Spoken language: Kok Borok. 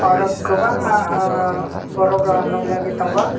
oro kwbangma borok rok nukjagoi tongo.